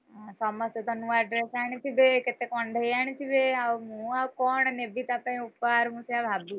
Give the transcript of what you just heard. ସମସ୍ତେ ତ ନୂଆ dress ଆଣିଥିବେ, କେତେ କଣ୍ଢେଇ ଆଣିଥିବେ ମୁଁଆଉ କଣ ନେବି ଉପହାର ମୁଁ ସେଇଆ ଭାବୁଚି।